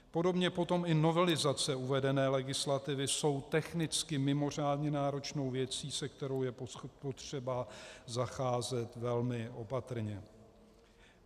Podobně potom i novelizace uvedené legislativy jsou technicky mimořádně náročnou věcí, se kterou je potřeba zacházet velmi opatrně.